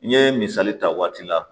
N ye misali ta waati la